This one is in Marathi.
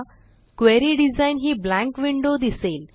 क्वेरी डिझाइन ही ब्लँक windowदिसेल